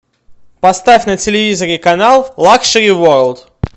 поставь на телевизоре канал лакшери ворлд